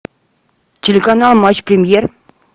телеканал матч премьер